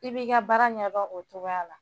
I b'i ka baara ɲɛ o cogoya la